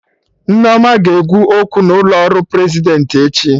Nneoma ga-ekwu okwu n'ụlọ ọrụ Prezidentị echi